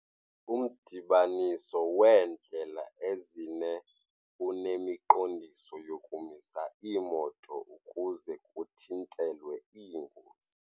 Umdibaniso weendlela ezine unemiqondiso yokumisa iimoto ukuze kuthintelwe iingozi.